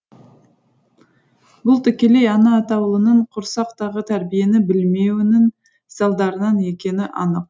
бұл тікелей ана атаулының құрсақтағы тәрбиені білмеуінің салдарынан екені анық